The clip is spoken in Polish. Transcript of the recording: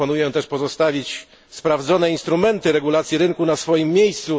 Proponuję też pozostawić sprawdzone instrumenty regulacji rynku na swoim miejscu.